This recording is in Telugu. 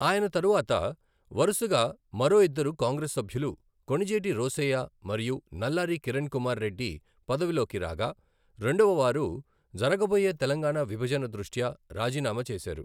ఆయన తరువాత వరుసగా మరో ఇద్దరు కాంగ్రెస్ సభ్యులు కొణిజేటి రోశయ్య మరియు నల్లారి కిరణ్ కుమార్ రెడ్డి పదవిలోకి రాగా, రెండవవారు జరగబోయే తెలంగాణా విభజన దృష్ట్యా రాజీనామా చేశారు.